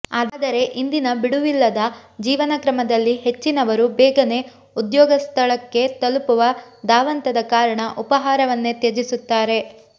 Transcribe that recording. ಆದರೆ ಇಂದಿನ ಬಿಡುವಿಲ್ಲದ ಜೀವನಕ್ರಮದಲ್ಲಿ ಹೆಚ್ಚಿನವರು ಬೇನಗೇ ಉದ್ಯೋಗಸ್ಥಳಕ್ಕೆ ತಲುಪುವ ಧಾವಂತದ ಕಾರಣ ಉಪಾಹಾರವನ್ನೇ ತ್ಯಜಿಸುತ್ತಾರೆ